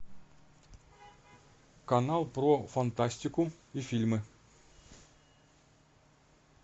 канал про фантастику и фильмы